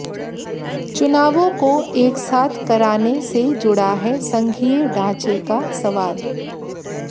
चुनावों को एकसाथ कराने से जुड़ा है संघीय ढांचे का सवाल